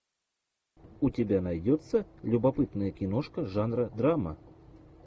у тебя найдется любопытная киношка жанра драма